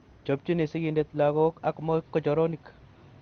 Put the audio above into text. Chopchini sigindet lagok ak mogochoronik